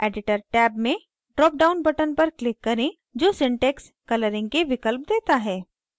editor tab में drop down button पर click करें जो syntax colouring के विकल्प देता है